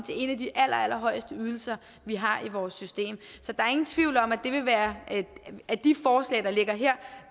en af de allerallerhøjeste ydelser vi har i vores system så der er ingen tvivl om at af de forslag der ligger her